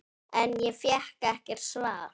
En ég fékk ekkert svar.